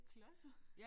Klodset